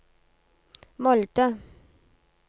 Molde